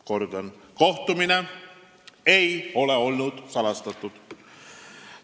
Kordan: kohtumine ei olnud salastatud.